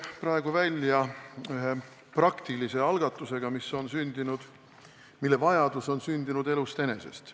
Tuleme välja ühe praktilise algatusega, mille vajadus on sündinud elust enesest.